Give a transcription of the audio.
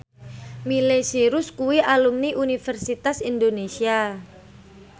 Miley Cyrus kuwi alumni Universitas Indonesia